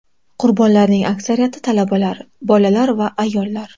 Qurbonlarning aksariyati talabalar, bolalar va ayollar.